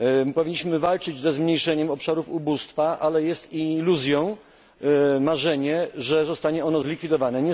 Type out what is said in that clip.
Powinniśmy walczyć o zmniejszenie obszarów ubóstwa, ale iluzją jest marzenie, że zostanie ono zlikwidowane.